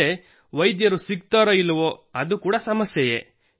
ಅಲ್ಲದೇ ವೈದ್ಯರು ಸಿಗುತ್ತಾರೋ ಇಲ್ಲವೋ ಅದು ಕೂಡಾ ಸಮಸ್ಯೆಯೇ